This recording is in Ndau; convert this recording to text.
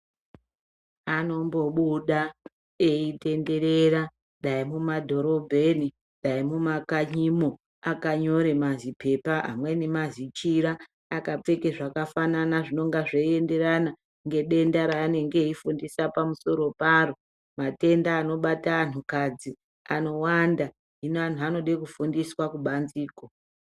Anombobuda eitenderera ,dai mumadhorobheni ,dai mumakanyimo .Akanyore mazipepa ,amweni mazichira .Akapfeka zvakafana aizvinenge zvienderana ngedenda raanenge eifundisa pamusoro paro .Matenda anobata anhu kadzi ,anowanda .Hino anhu anode kufundiswa kubanzeko.